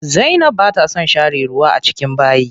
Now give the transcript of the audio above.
Zainab bata son share ruwa a bayi.